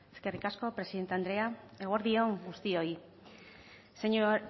eskerrik asko presidente andrea eguerdi on guztioi